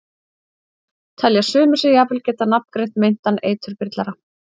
Telja sumir sig jafnvel geta nafngreint meintan eiturbyrlara.